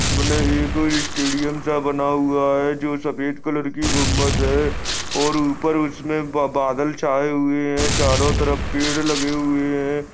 एक स्टेडीअम सा बना हुआ है जो सफेद कलर की गुम्बद है और ऊपर उसमे बादल छाए हुए है चारो तरफ पेड़ लगे हुए है।